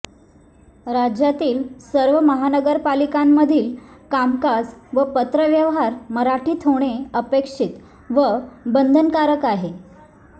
राज्यातील सर्व महानगरपलिकांमधील कामकाज व पत्रव्यवहार मराठीत होणे अपेक्षित व बंधनकारक आहे